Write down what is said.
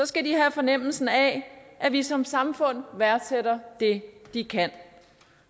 skal de have fornemmelsen af at vi som samfund værdsætter det de kan